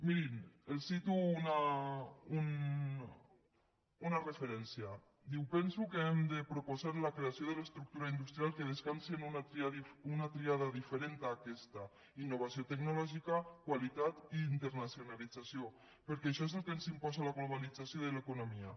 mirin els cito una referència diu penso que hem de proposar la creació de l’estructura industrial que descansi en una tríada diferent d’aquesta innovació tecnològica qualitat i internacionalització perquè això és el que ens imposa la globalització de l’economia